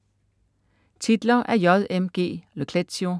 Titler af J. M. G. Le Clézio